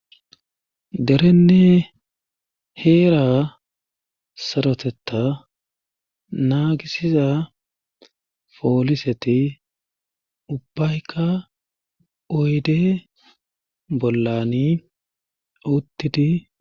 derenne heera saroteta naagisiza pooliseti ubbaykka oyde bollani uttidi